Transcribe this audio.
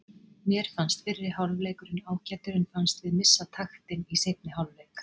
Mér fannst fyrri hálfleikurinn ágætur en fannst við missa taktinn í seinni hálfleik.